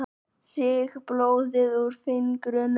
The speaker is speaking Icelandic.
Sýg blóðið úr fingrinum.